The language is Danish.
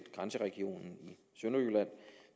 grænseregionen i sønderjylland